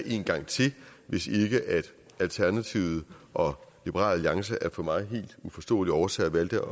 en gang til hvis ikke alternativet og liberal alliance af for mig helt uforståelige årsager valgte